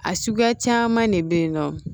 A suguya caman de bɛ yen nɔ